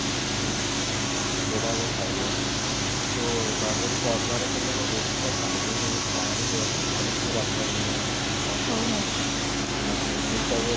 ତ ସେଟା ଖାଇବେ actually ତୁ normally ସର୍ବା ରେ ଖାଇଲେ କ'ଣ ରୁଟି ଟା ଟାଣି ହେଇକି ଟାଣି ହୁଏ ନା ପୁରା ଏମିତି robber ଭଳିଆ ମଇଦା ଟା but ପିଟା bread ଟା